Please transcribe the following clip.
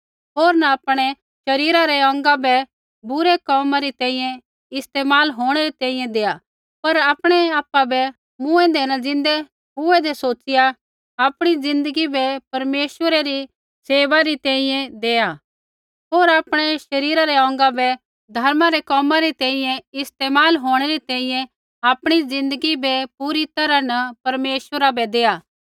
होर न आपणै शरीरा रै अौंगा बै बुरै कोमा री तैंईंयैं इस्तेमाल होंणै री तैंईंयैं देआ पर आपणै आपा बै मूँऐंदै न ज़िन्दै हुऐदें सोचिया आपणी ज़िन्दगी बै परमेश्वरा री सेवा री तैंईंयैं देआ होर आपणै शरीरा रै अौंगा बै धर्मा रै कोमा री तैंईंयैं इस्तेमाल होंणै री तैंईंयैं आपणी ज़िन्दगी बै पूरी तैरहा न परमेश्वरा बै देआ